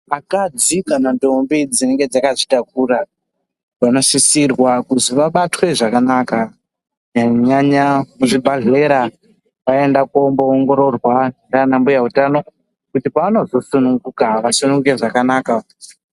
Vakadzi kana ndombi dzinenge dzakazvitakura vanosisirwa kuzwi vabatwe zvakanaka kunyanya nyanya muzvibhadhlera voenda komboongororwa nana mbuya utano kuti paanozosununguka asununguke zvakanaka.